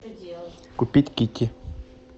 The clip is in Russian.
купить кики